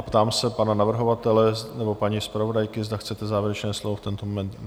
A ptám se pana navrhovatele nebo paní zpravodajky, zda chcete závěrečné slovo v tento moment?